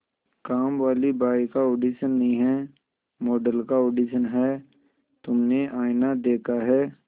कामवाली बाई का ऑडिशन नहीं है मॉडल का ऑडिशन है तुमने आईना देखा है